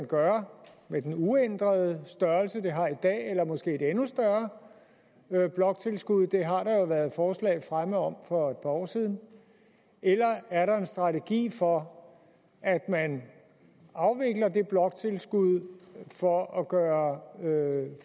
gøre med en uændret størrelse det vi har i dag eller måske et endnu større bloktilskud det har der jo været forslag fremme om for et par år siden eller er der en strategi for at man afvikler det bloktilskud for at gøre